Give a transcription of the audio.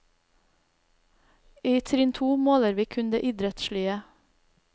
I trinn to måler vi kun det idrettslige.